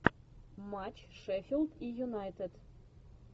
матч шеффилд и юнайтед